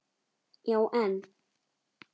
Já, en